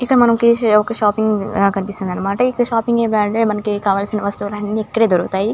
మనకి ఇక్కడ ఒక షాపింగ్ లాగా కనిపిస్తుంది అనమాట. అయితే షాపింగ్ లో మనకి కావాల్సిన వస్తువులు అన్నీ ఇక్కడే దొరుకుతాయి.